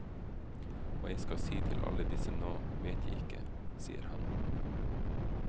Hva jeg skal si til alle disse nå, vet jeg ikke, sier han.